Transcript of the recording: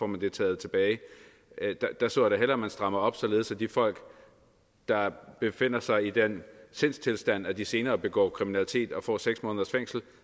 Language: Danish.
man det taget tilbage der så jeg da hellere at man strammede op således at de folk der befinder sig i den sindstilstand at de senere begår kriminalitet og får seks måneders fængsel